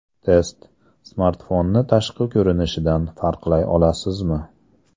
Test: Smartfonni tashqi ko‘rinishidan farqlay olasizmi?.